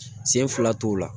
Sen fila t'o la